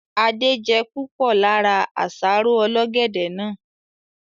Adé je púpọ̀ lára àsáró ọlọ́gẹ̀dẹ̀ náà